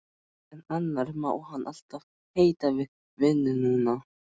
En annars má hann alltaf heita við vinnuna.